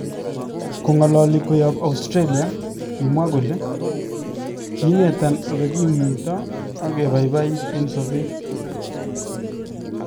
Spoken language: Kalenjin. Kong'alali koyaab Australia, kimwa kole: kinetan ole kimuunydoo ak kebaybayit en sobeet